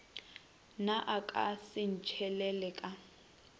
na a ka sentšhelele ka